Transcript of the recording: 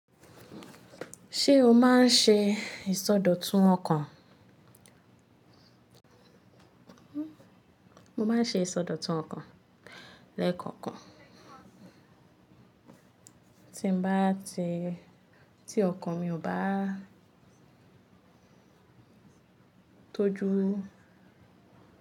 Ṣé o máa ń ṣe ìsọdọ̀tun ọkàn? Mo máa ń ṣe ìsọdọ̀tun ọkàn lẹ́ẹ̀kọ̀okan tí n bá ti, tí ọkàn mi ò bá tójú.